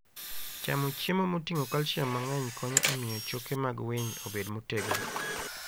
Chamo chiemo moting'o calcium mang'eny konyo e miyo choke mag winy obed motegno.